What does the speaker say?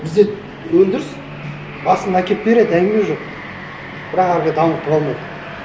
бізде өндіріс басында әкеліп береді әңгіме жоқ бірақ әрі қарай дамытып алмайды